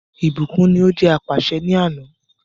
Ìbùkún ní o jẹ́ apàṣẹ ni àná.